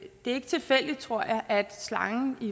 er tilfældigt tror jeg at slangen i